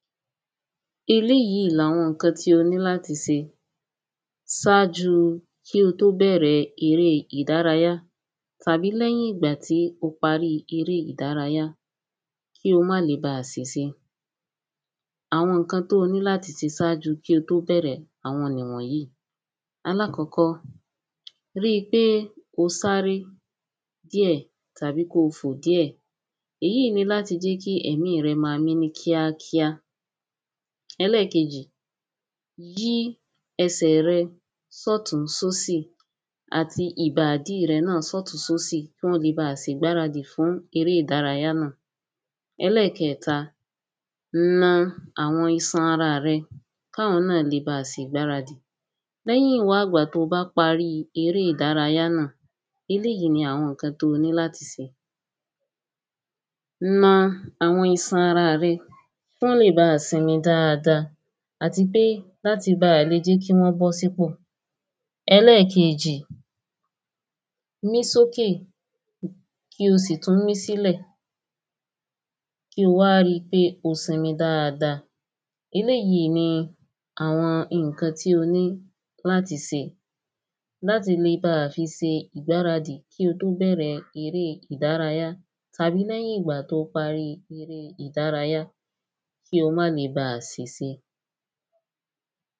eléyìí làwọn ǹkan tí o ní láti se sájúu kí ó tó bẹ̀rẹ erée ìdárayá. tàbí lẹ́yìn ìgbà tí ó paríi erée ìdárayá kí ó má le baà sìse. àwọn ǹkan tí ó ní láti se kí ó tó bẹ̀rẹ̀, àwọn nì wọ̀n yíì; alákọ́kọ́, ríi pé ó sáré díẹ̀ tàbí ko fò díẹ̀, èyíì í ni láti jẹ́ kí ẹ̀mí rẹ ma mí ní kíákíá. ẹlẹ́kejì, yí ẹsẹ̀ rẹ sọ́tún sósì àti ìbàdí rẹ náà sọ́tún sósì kí wọ́n le baà sègbáradì fún eré ìdárayá náà. ẹlẹ́kẹẹ̀ta, na àwọn isan ara rẹ káwọn náà le baà se ìgbáradì. lẹ́yìn wá ìgbà to bá paríi eré ìdárayá náà, eléyìí ni àwọn ǹkan to ní láti se; na àwọn isan araà rẹ kán lè baà sinmi dáada àti pé láti baà le jẹ́ kí wọ́n bọ́ sípò. ẹlẹ́kejì, mí sókè kí o sì tún mí sílẹ̀, kí ó wa rí pé ó sinmi dáada. eléyìi ni àwọn ǹkan tí ó ní láti se. láti le baà fi se ìgbáradì kí ó tó bẹ̀rẹ erée ìdárayá tàbí lẹ́yìn ìgbà to páríi erée ìdárayá, kí o má le baà sìse.